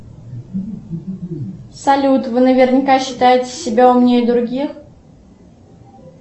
салют вы наверняка считаете себя умнее других